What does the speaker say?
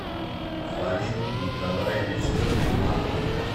фарид николаевич сулейманов